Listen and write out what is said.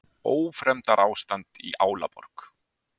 Ófremdarástand í Álaborg